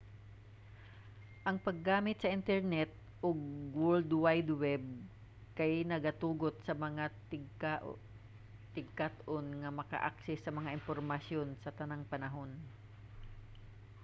ang paggamit sa internet ug world wide web kay nagatugot sa mga tigkat-on nga magka-access sa mga impormasyon sa tanang panahon